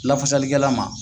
Lafasali kɛla ma.